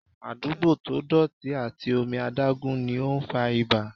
Àdúgbò to dọ̀tí àti omi adágún ni ó ń fa ibà.